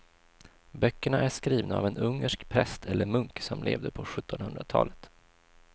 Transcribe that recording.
Böckerna är skrivna av en ungersk präst eller munk som levde på sjuttonhundratalet.